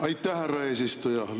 Aitäh, härra eesistuja!